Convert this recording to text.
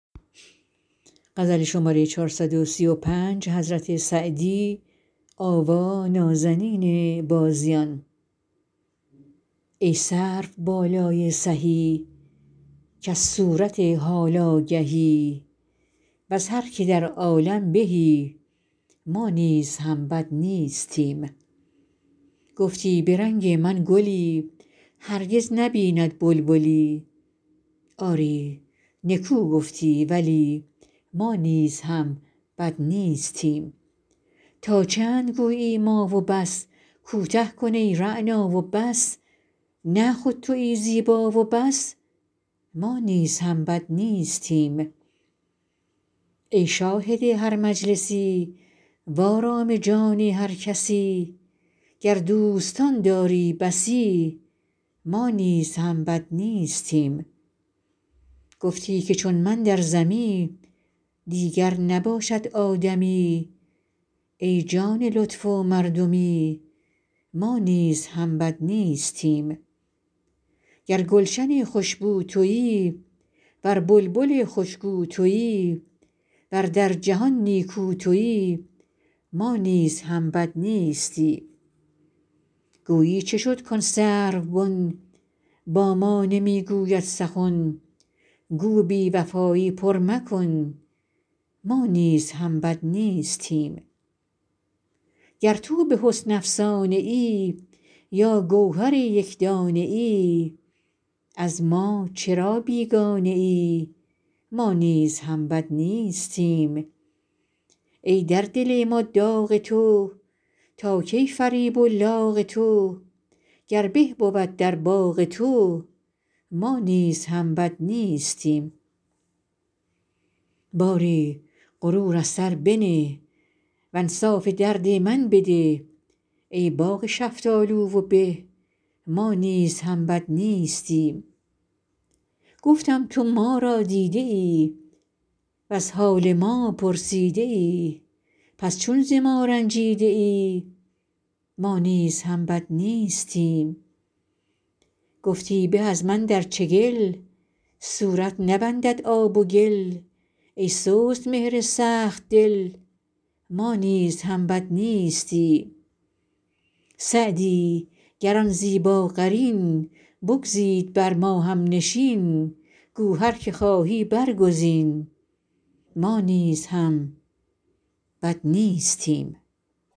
ای سروبالای سهی کز صورت حال آگهی وز هر که در عالم بهی ما نیز هم بد نیستیم گفتی به رنگ من گلی هرگز نبیند بلبلی آری نکو گفتی ولی ما نیز هم بد نیستیم تا چند گویی ما و بس کوته کن ای رعنا و بس نه خود تویی زیبا و بس ما نیز هم بد نیستیم ای شاهد هر مجلسی وآرام جان هر کسی گر دوستان داری بسی ما نیز هم بد نیستیم گفتی که چون من در زمی دیگر نباشد آدمی ای جان لطف و مردمی ما نیز هم بد نیستیم گر گلشن خوش بو تویی ور بلبل خوش گو تویی ور در جهان نیکو تویی ما نیز هم بد نیستیم گویی چه شد کآن سروبن با ما نمی گوید سخن گو بی وفایی پر مکن ما نیز هم بد نیستیم گر تو به حسن افسانه ای یا گوهر یک دانه ای از ما چرا بیگانه ای ما نیز هم بد نیستیم ای در دل ما داغ تو تا کی فریب و لاغ تو گر به بود در باغ تو ما نیز هم بد نیستیم باری غرور از سر بنه وانصاف درد من بده ای باغ شفتالو و به ما نیز هم بد نیستیم گفتم تو ما را دیده ای وز حال ما پرسیده ای پس چون ز ما رنجیده ای ما نیز هم بد نیستیم گفتی به از من در چگل صورت نبندد آب و گل ای سست مهر سخت دل ما نیز هم بد نیستیم سعدی گر آن زیباقرین بگزید بر ما هم نشین گو هر که خواهی برگزین ما نیز هم بد نیستیم